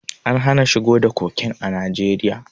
An hana shigo da koken a Najeriya.